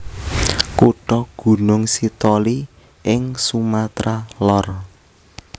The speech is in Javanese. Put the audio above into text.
Kutha Gunung Sitoli ing Sumatra Lor